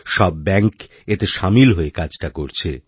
সব ব্যাঙ্ক এতে সামিল হয়ে কাজটা করছে